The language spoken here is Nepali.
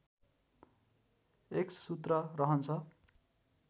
एक्ससूत्र रहन्छ